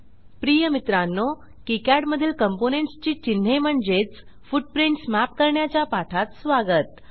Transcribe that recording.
प्रिय मित्रांनो किकाड मधील कॉम्पोनेंट्स ची चिन्हे म्हणजेच फुटप्रिंट्स मॅप करण्याच्या पाठात स्वागत